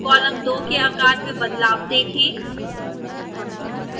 column 2 के आकार में बदलाव देखें